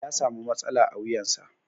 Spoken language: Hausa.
Ya samu matsala a wuyansa.